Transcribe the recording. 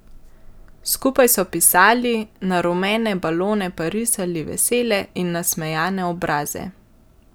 Skupaj so pisali, na rumene balone pa risali vesele in nasmejane obraze.